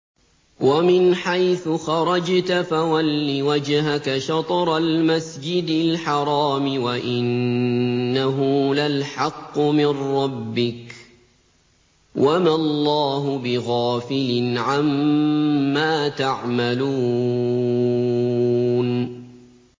وَمِنْ حَيْثُ خَرَجْتَ فَوَلِّ وَجْهَكَ شَطْرَ الْمَسْجِدِ الْحَرَامِ ۖ وَإِنَّهُ لَلْحَقُّ مِن رَّبِّكَ ۗ وَمَا اللَّهُ بِغَافِلٍ عَمَّا تَعْمَلُونَ